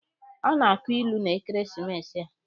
A ga-akọ ilu n'ekeresimesi a.